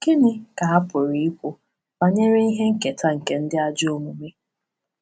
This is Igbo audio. Gịnị ka a pụrụ ikwu banyere ihe nketa nke ndị ajọ omume?